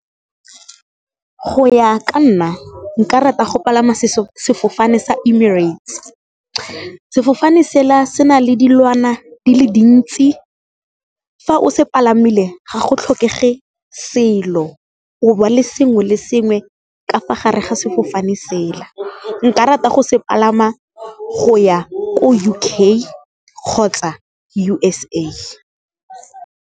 Go ya ka nna nka rata go palama sefofane sa Emirates. Sefofane sela se na le dilwana di le dintsi, fa o se palamile ga go tlhokege ge selo o ba le sengwe le sengwe ka fa gare ga sefofane sela, nka rata go se palama go ya ko U_K kgotsa U_S_A.